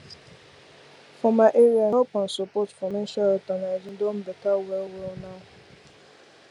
for my area help and support for menstrual health and hygiene don better well well now